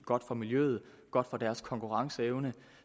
godt for miljøet og for deres konkurrenceevne